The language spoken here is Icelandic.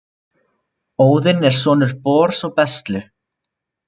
Óðinn er sonur Bors og Bestlu.